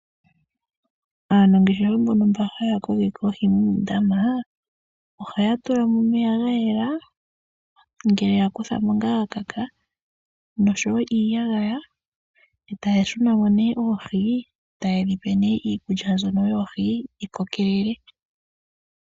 Aanangeshefa mbono haya kokeke oohi muundama, ohaya tula mo omeya nga ga yela, ngele ya kutha mo nga ga kaka noshowo iiyagaya e taya shu na mo nee oohi taye dhi pe iikulya mbyono yoohi dhi kokelele.